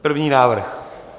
První návrh.